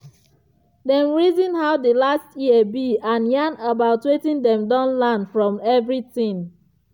dem reason how the last year be and yarn about wetin dem don learn from everything.